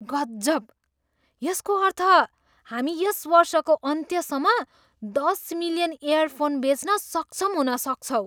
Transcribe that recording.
गजब! यसको अर्थ हामी यस वर्षको अन्त्यसम्म दस मिलियन इयरफोन बेच्न सक्षम हुन सक्छौँ!